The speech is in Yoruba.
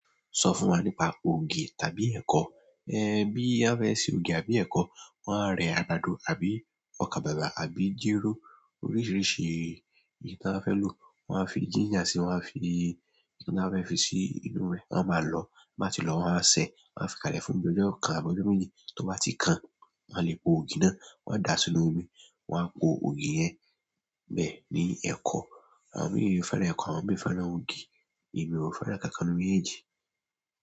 Sọ fún wa nípa ògì tàbí ẹ̀kọ. Ẹn, bí a bá fẹ́ ṣe ògì àbí ẹ̀kọ, wọ́n á rẹ àgbàdo àbí ọkà bàbà àbí jéró oríṣiríṣi ìyí tí wọ́n bá fẹ́ lò. Wọ́n á fi ginger sí i, wọ́n á fi ohun tí wọ́n bá fẹ́ fi sí inú rẹ̀, wọ́n á máa lọ̀ọ́. Bí wọ́n bá ti lọ̀ọ́, wọ́n á wá sẹ, wọ́n á fi kalẹ̀ fún bí ojó kan àbí ojó méjì. Tó bá ti kan, wọ́n á le po ògì náà, wọ́n á dà á sínú omi, wọ́n á po ògì yẹn bẹ́ẹ̀ ní ẹ̀kọ. Àwọn míì fẹ́ràn ẹ̀kọ, àwọn míì fẹ́ràn ògì, èmi ò fẹ́ràn ǹkan-kan nínú méjèèjì.